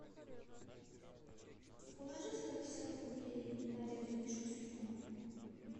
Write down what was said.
положи сто пятьдесят рублей на дядю мишу телефон